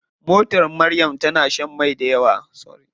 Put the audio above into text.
Motar Maryam tana shan mai dayawa.